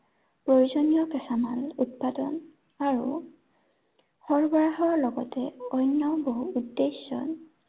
প্ৰয়োজনীয় কেঁচামাল উৎপাদন আৰু, সৰবৰাহৰ লগতে অন্য় বহু উদ্দেশ্য়